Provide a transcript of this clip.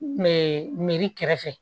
N kun be miiri kɛrɛfɛ